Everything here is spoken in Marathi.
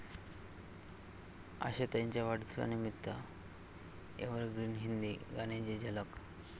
आशाताईंच्या वाढदिवसानिमित्त एव्हरग्रीन हिंदी गाण्यांची झलक